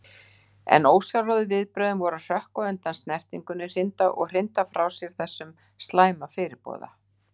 En ósjálfráðu viðbrögðin voru að hrökkva undan snertingunni, hrinda frá sér þessum slæma fyrirboða.